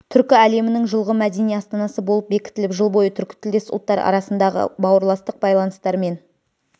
түркі әлемінің жылғы мәдени астанасы болып бекітіліп жыл бойы түркітілдес ұлттар арасындағы бауырластық байланыстар мен